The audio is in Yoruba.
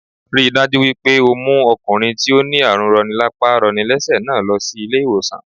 Ríi dájú wípé o mú okùnrin tí ó ní àrùn roni lápá roni lésè náà lo sí ilé ìwòsàn